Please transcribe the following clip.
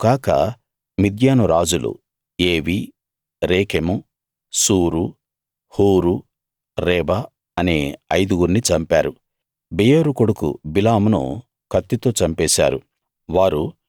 వారు కాక మిద్యాను రాజులు ఎవీ రేకెము సూరు హూరు రేబ అనే ఐదుగుర్ని చంపారు బెయోరు కొడుకు బిలామును కత్తితో చంపేశారు